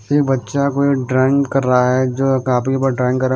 एक बच्चा कोई ड्राइंग कर रहा है जो काफी बार ड्राइंग।